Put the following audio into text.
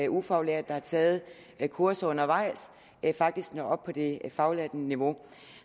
ufaglærte der har taget kurser undervejs faktisk når op på det faglærte niveau